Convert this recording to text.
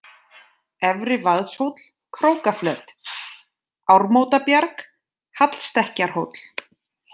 Efri-Vaðshóll, Krókaflöt, Ármótabjarg, Hallstekkjarhóll